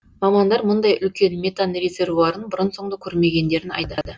мамандар мұндай үлкен метан резервуарын бұрын соңды көрмегендерін айтады